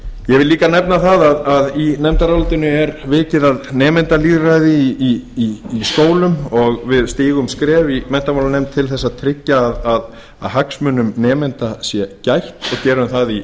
vil líka nefna að í nefndarálitinu er vikið að nemendalýðræði í skólum og við stigum skref í menntamálanefnd til þess að tryggja að hagsmuna nemenda sé gætt og gerum það í